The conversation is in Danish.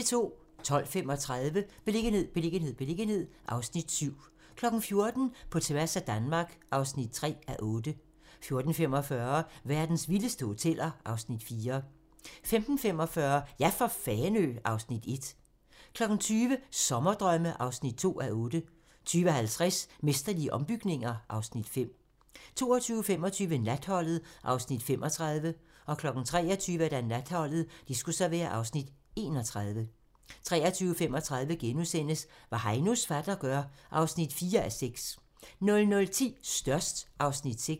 12:35: Beliggenhed, beliggenhed, beliggenhed (Afs. 7) 14:00: På tværs af Danmark (3:8) 14:45: Verdens vildeste hoteller (Afs. 4) 15:45: Ja for Fanø! (Afs. 1) 20:00: Sommerdrømme (2:8) 20:50: Mesterlige ombygninger (Afs. 5) 22:25: Natholdet (Afs. 35) 23:00: Natholdet (Afs. 31) 23:35: Hvad Heinos fatter gør (4:6)* 00:10: Størst (Afs. 6)